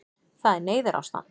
Það er neyðarástand